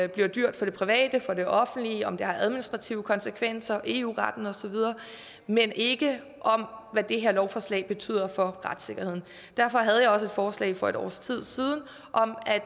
det bliver dyrt for det private for det offentlige om det har administrative konsekvenser til eu retten osv men ikke om hvad det her lovforslag betyder for retssikkerheden derfor havde jeg også et forslag for et års tid siden om at